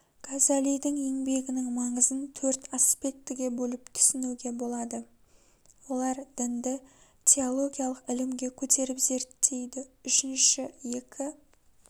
газалидің еңбегінің маңызын төрт аспектіге бөліп түсінуге болады олар дінді теологиялық ілімге көтеріп зерттейді үшінші екі